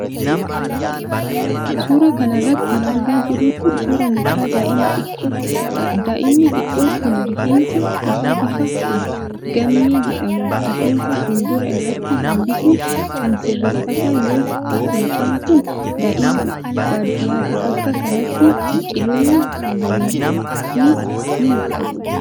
Suura kana irratti kan argaa jirru kun, suura mucaa daa'ima xiqqoo tokkoodha. Daaa'imni xiqqoon kun riffensa isaa bifa gaammee jedhamuun rifeensa fuuldura irratti hambisuun kan sirreeffate yoo ta'u, mucaan kun daa'ima baadiyyaati. Bakka kanatti biqiloonni magariisnis ni mul'atu.